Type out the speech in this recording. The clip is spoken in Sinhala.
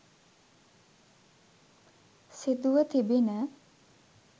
සිදුව තිබිණ.